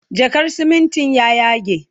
jakar simintin ya yage